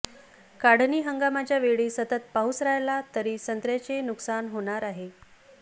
काढणी हंगामाच्या वेळी सतत पाऊस राहिला तरी संत्र्यांचे नुकसान होणार आहे